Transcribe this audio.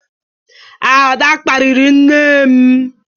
Ada kparịrị nne m.